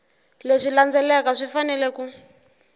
leswi landzelaka swi fanele ku